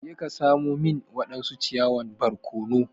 Je ka samo min wadansu ciyawan barkono!